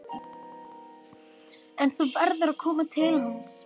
En þú verður að koma til hans.